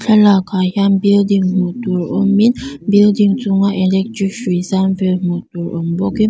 thlalak ah hian building hmuh tur awmin building chunga electric hrui zam vel hmuh tur awm bawkin--